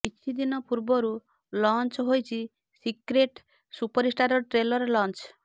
କିଛି ଦିନ ପୂର୍ବରୁ ଲଞ୍ଚ ହୋଇଛି ସିକ୍ରେଟ ସୁପରଷ୍ଟାରର ଟ୍ରେଲର ଲଂଚ